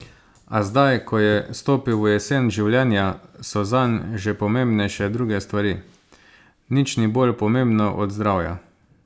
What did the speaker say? A zdaj, ko je stopil v jesen življenja, so zanj že pomembnejše druge stvari: "Nič ni bolj pomembno od zdravja.